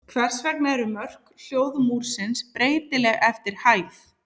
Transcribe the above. Hvers vegna eru mörk hljóðmúrsins breytileg eftir hæð?